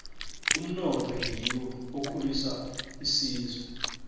umnotho ngiwo okhulisa isizwe